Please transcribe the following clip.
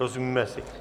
Rozumíme si?